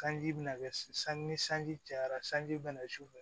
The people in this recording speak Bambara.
Sanji bina kɛ san ni sanji cayara sanji bɛna sufɛ